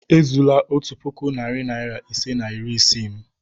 Ezula otu puku, narị naịra ise na iri isii m!